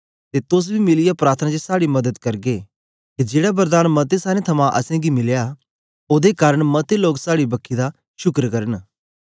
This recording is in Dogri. ते तोस बी मिलीयै प्रार्थना च साड़ी मदद करगे के जेड़ा वरदान मतें सारें थमां असेंगी मिलया ओदे कारन मते लोग साड़ी बक्खी दा शुकर करन